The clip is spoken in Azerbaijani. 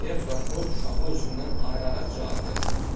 Deyə prokuror uşağı özündən ayıraraq cavab verdi.